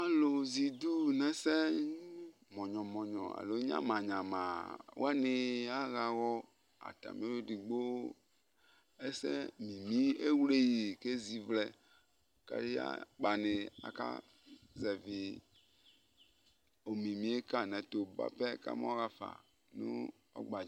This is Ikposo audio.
alò zɛ idu n'ɛsɛ mɔnyɔ mɔnyɔ alo nyama nyama wani aɣa awɔ atami edigbo ɛsɛ mimi ewle yi k'ezi vlɛ k'aya akpani aka zɛvi omimi yɛ ka yi n'ɛto boa pɛ kama ɣa fa no ɔgba